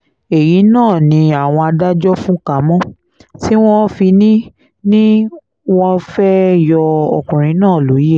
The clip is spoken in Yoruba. èyí náà ni àwọn adájọ́ fúnka mọ́ tí wọ́n fi ní ní wọ́n fẹ́ẹ́ yọ ọkùnrin náà lóye